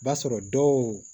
B'a sɔrɔ dɔw